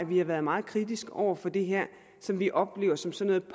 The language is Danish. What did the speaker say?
vi har været meget kritiske over for det her som vi oplever som sådan